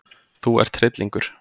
Þú ert hryllingur!